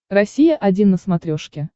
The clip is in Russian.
россия один на смотрешке